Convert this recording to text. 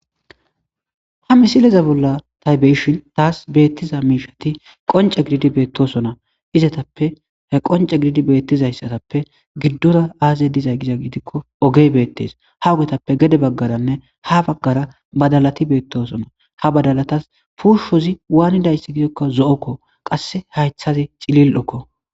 ha misileza bolla tay beyshin taas beettiza miishati qonce gididi beettosona izatappe he qonce gididi beettizayssatappe giddora aaze diza giza giidikko ogey beettes ha ogetappe gede baggaranne ha baggara badalati beettosona ha badalatas puushozi waanidayssi gidokka zo'okko qasse haythazi cilil'okko